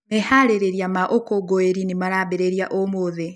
Meharĩrĩria ma ũkũngũĩri nĩmambĩrĩria ũmũthĩ.